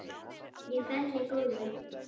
Ég fell í gólfið.